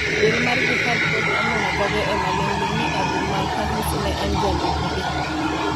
Duol mar Jihad pod omuno dhoge emaling'ling' ni Abu Malhous ne en jalupgi.